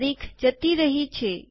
તારીખ જતી રહી છે